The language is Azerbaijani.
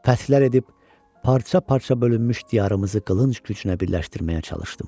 Fəthlər edib parça-parça bölünmüş diyarımızı qılınc gücünə birləşdirməyə çalışdım.